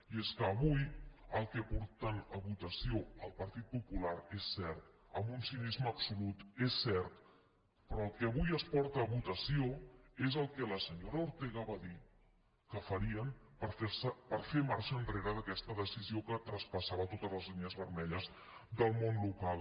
i és que avui el que porten a votació el partit popular és cert amb un cinisme absolut és cert és el que la senyora ortega va dir que farien per fer marxa enrere d’aquesta decisió que traspassava totes les línies vermelles del món local